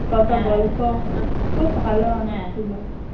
কত গল্প খুব ভালো মানুষ ছিল ।